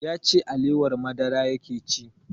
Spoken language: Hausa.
Ya ce alewar madara yake ci